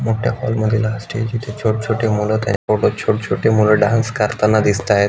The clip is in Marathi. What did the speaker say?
मोठ्या हॉल मधील हा स्टेज इथे छोट छोटे मुल त्या फोटोत छोट छोटे मुल डान्स करताना दिसताय.